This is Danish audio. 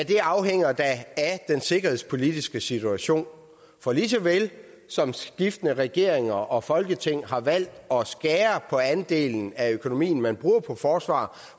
det afhænger da af den sikkerhedspolitiske situation for lige så vel som skiftende regeringer og folketing har valgt at skære på andelen af økonomien man bruger på forsvaret